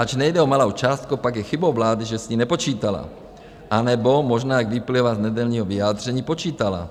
Ač nejde o malou částku, pak je chybou vlády, že s ní nepočítala, anebo možná, jak vyplývá z nedělního vyjádření, počítala.